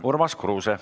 Urmas Kruuse.